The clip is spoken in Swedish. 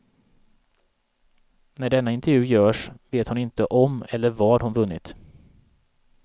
När denna intervju görs vet hon inte om eller vad hon vunnit.